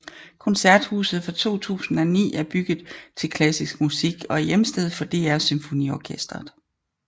Koncerthuset fra 2009 er bygget til klassisk musik og er hjemsted for DR SymfoniOrkestret